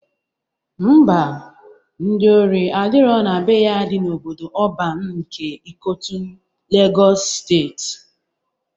Ḿbà, ndị ori adirọ na be ya dị n'obodo ọban nke Ikotun, Legọs steeti.